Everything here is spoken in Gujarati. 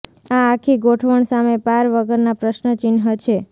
આ આખી ગોઠવણ સામે પાર વગર ના પ્રશ્ન ચિહ્ન છે